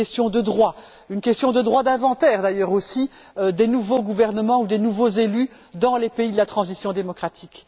aux droits, au droit d'inventaire, d'ailleurs aussi, des nouveaux gouvernements ou des nouveaux élus dans les pays de la transition démocratique.